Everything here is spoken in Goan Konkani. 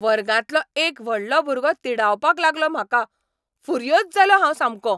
वर्गांतलो एक व्हडलो भुरगो तिडावपाक लागलो म्हाका, फुर्योज जालों हांव सामकों.